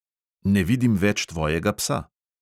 Ne vidim več tvojega psa.